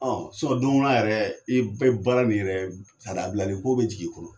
Ɔ donw na yɛrɛ, i bɛɛ baara min yɛrɛ a bilali ko bɛ jigin i kɔnɔ.